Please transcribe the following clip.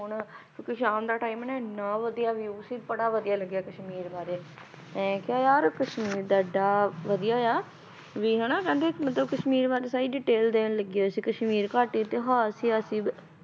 ਕਿਉਂਕਿ ਸ਼ਾਮ ਦਾ time ਹੈ ਨਾ ਇੰਨਾ ਵਧੀਆ view ਸੀ ਬੜਾ ਵਧੀਆ ਲੱਗਿਆ ਕਸ਼ਮੀਰ ਬਾਰੇ ਮੈਂ ਕਿਹਾ ਯਾਰ ਕਸ਼ਮੀਰ ਦਾ ਇੱਡਾ ਵਧੀਆ ਆ ਵੀ ਹਨਾ ਕਹਿੰਦੇ ਮਤਲਬ ਕਸ਼ਮੀਰ ਬਾਰੇ ਸਾਰੀ detail ਦੇਣ ਲੱਗੇ ਹੋਏ ਸੀ ਕਸ਼ਮਰੀ ਘਾਟੀ